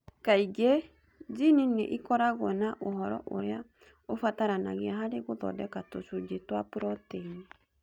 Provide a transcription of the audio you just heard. Kaingĩ, jini nĩ ikoragwo na ũhoro ũrĩa ũbataranagia harĩ gũthondeka tũcunjĩ twa proteini.